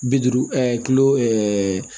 Bi duuru kilo ɛɛ